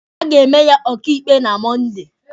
A ga-eme ya ọkaịkpe na Mọnde.